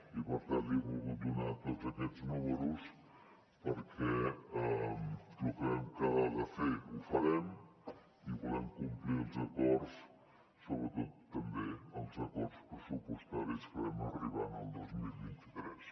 i per tant li he volgut donar tots aquests números perquè lo que vam quedar de fer ho farem i volem complir els acords sobretot també els acords pressupostaris a què vam arribar el dos mil vint tres